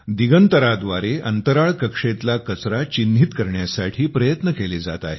दिगंतरा व्दारे अंतराळ कक्षेतला कचरा चिहिृनीत करण्यासाठी प्रयत्न केले जात आहे